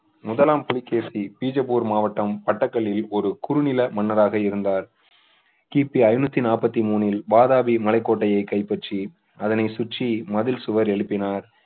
முதலாம் புலிகேசி பிஜப்பூர் மாவட்டம் பட்டக் கல்லில் ஒரு குறுநில மன்னராக இருந்தார் கிபி ஐணூத்தி நாப்பத்தி மூனில் வாதாபி மலை கோட்டையை கைப்பற்றி அதனை சுற்றி மதில் சுவர் எழுப்பினார்